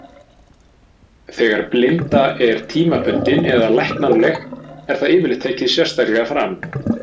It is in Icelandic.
Þegar blinda er tímabundin eða læknanleg er það yfirleitt tekið sérstaklega fram.